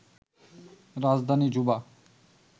রাজধানী জুবা